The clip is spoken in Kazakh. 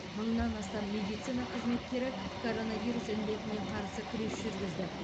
мыңнан астам медицина қызметкері коронавирус індетіне қарсы күрес жүргізді